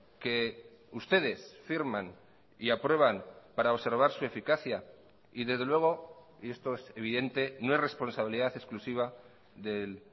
que ustedes firman y aprueban para observar su eficacia y desde luego y esto es evidente no es responsabilidad exclusiva del